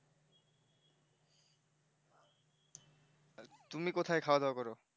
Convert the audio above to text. তুমি কোথায় খাওয়া দাও করো